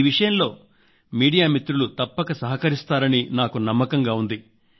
ఈ విషయంలో మీడియా మిత్రులు తప్పక సహకరిస్తారని నాకు నమ్మకం ఉంది